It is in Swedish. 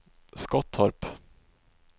Skottorp